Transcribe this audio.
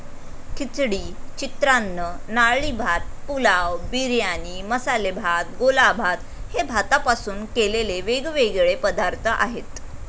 खिचडी, चित्रान्न, नारळी भात, पुलाव, बिर्याणी, मसाले भात, गोलाभात हे भातापासून केलेले वेगवेगळे पदार्थ आहेत.